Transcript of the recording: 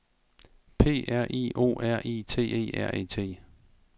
P R I O R I T E R E T